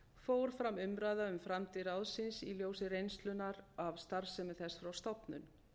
fór fram umræða um framtíð ráðsins í ljósi reynslunnar af starfsemi þess frá stofnun